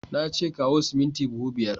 Na ce kawo siminti buhu biyar!